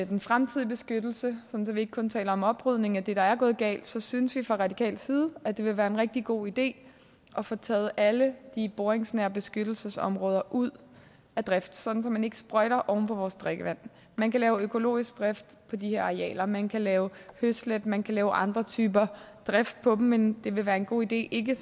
den fremtidige beskyttelse sådan at vi ikke kun taler om oprydning af det der er gået galt synes vi fra radikal side at det vil være en rigtig god idé at få taget alle de boringsnære beskyttelsesområder ud af drift sådan at man ikke sprøjter oven på vores drikkevand man kan lave økologisk drift på de her arealer man kan lave høslæt man kan lave andre typer drift på dem men det vil være en god idé ikke